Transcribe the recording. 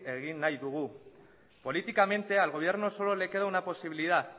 egin nahi dugu políticamente al gobierno solo le queda una posibilidad